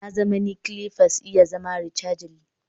Na zamani clippers iya zama rechargely